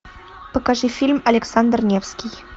покажи фильм александр невский